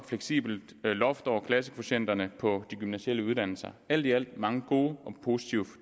fleksibelt loft over klassekvotienterne på de gymnasiale uddannelser alt i alt mange gode og positive